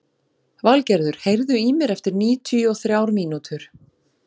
Valgerður, heyrðu í mér eftir níutíu og þrjár mínútur.